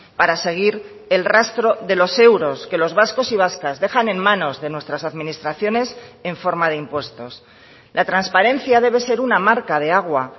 para seguir el rastro de los euros que los vascos y vascas dejan en manos de nuestras administraciones en forma de impuestos la transparencia debe ser una marca de agua